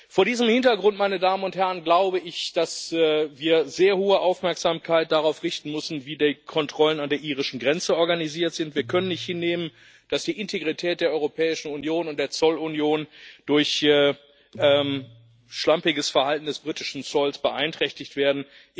Vor diesem Hintergrund glaube ich, dass wir sehr hohe Aufmerksamkeit darauf richten müssen, wie die Kontrollen an der irischen Grenze organisiert sind. Wir können nicht hinnehmen, dass die Integrität der Europäischen Union und der Zollunion durch schlampiges Verhalten des britischen Zolls beeinträchtigt werden.